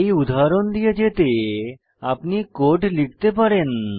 এই উদাহরণ দিয়ে যেতে আপনি কোড লিখতে পারেন